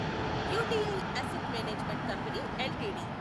UTI asset management company LTD